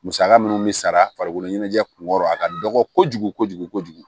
Musaka minnu bɛ sara farikolo ɲɛnajɛ kun kɔrɔ a ka dɔgɔ kojugu kojugu kojugu